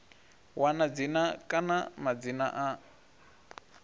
wana dzina kana madzina a